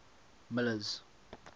miller's